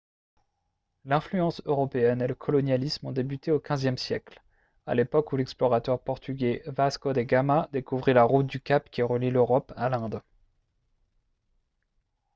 l'influence européenne et le colonialisme ont débuté au xve siècle à l'époque où l'explorateur portugais vasco de gama découvrit la route du cap qui relie l'europe à l'inde